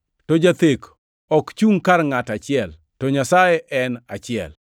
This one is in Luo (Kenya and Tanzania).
To jathek ok chungʼ kar ngʼat achiel; to Nyasaye to en achiel.